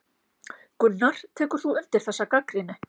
Gunnar: Tekur þú undir þessa gagnrýni?